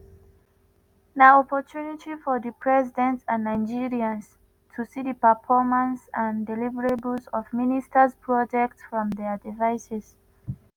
na opportunity for di president and nigerians to see di performance and deliverables of ministers projects from dia devices.